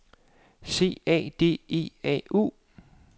C A D E A U